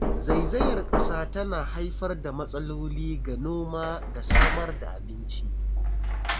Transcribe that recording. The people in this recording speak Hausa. Zaizayar ƙasa tana haifar da matsaloli ga noma da samar da abinci.